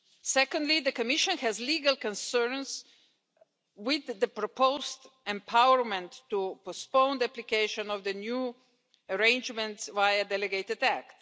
Secondly, the Commission has legal concerns with the proposed empowerment to postpone the application of the new arrangements via a delegated act.